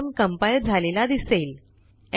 program compile झालेला दिसेल